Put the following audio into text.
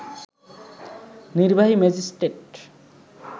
নির্বাহী ম্যাজিস্ট্রেট